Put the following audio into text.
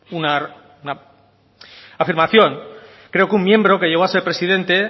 una afirmación creo que un miembro que llegó a ser presidente